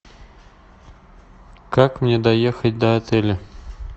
как мне доехать до отеля